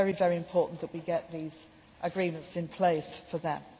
It is very important that we get these agreements in place for